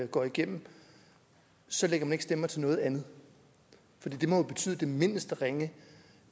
går igennem så lægger man ikke stemmer til noget andet for det mindste ringe